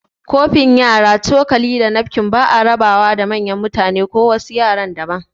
Kofin yara, cokali, da nafkin ba'a raba wa da manyan mutane ko wasu yara daban